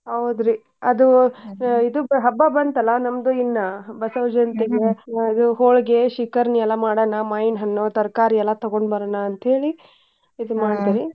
ಹೌದ್ರಿ ಅದ್ ಹಬ್ಬಾ ಬಂತಲ್ಲಾ ನಮ್ದು ಇನ್ನ್ ಬಸವ ಆ ಇದು ಹೋಳ್ಗಿ, ಶಿಕರ್ಣಿ ಎಲ್ಲಾ ಮಾಡೋಣಾ ಮಾವಿನಹಣ್ಣು ತರಕಾರಿ ಎಲ್ಲಾ ತೊಗೊಂಡ್ ಬರೋಣಾ ಅಂತೇಳಿ ಇದ್ .